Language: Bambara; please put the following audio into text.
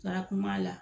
Taga kun b'a la